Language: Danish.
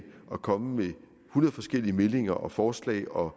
og komme med hundrede forskellige meldinger og forslag og